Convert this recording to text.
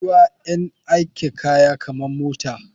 Ruwa yan aika kaya kaman mota.